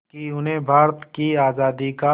कि उन्हें भारत की आज़ादी का